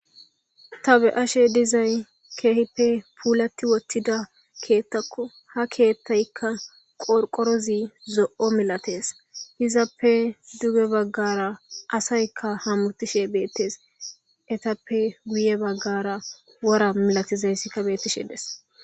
Ta be'ashe dizay kehipe pulati wotida kethako ha kethayka qorqorozi zo'o milates izappe duge bagara asayka hamutishe betes etape guye bagara wora milatizaysika betishe des.